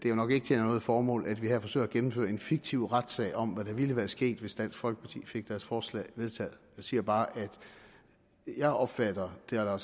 jo nok ikke tjener noget formål at vi her forsøger at gennemføre en fiktiv retssag om hvad der ville være sket hvis dansk folkeparti fik deres forslag vedtaget jeg siger bare at jeg opfatter det herre